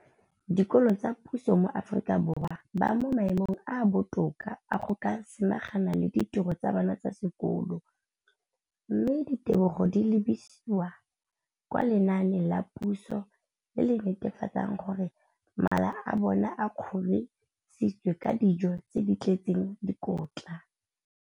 dikolo tsa puso mo Aforika Borwa ba mo maemong a a botoka a go ka samagana le ditiro tsa bona tsa sekolo, mme ditebogo di lebisiwa kwa lenaaneng la puso le le netefatsang gore mala a bona a kgorisitswe ka dijo tse di tletseng dikotla.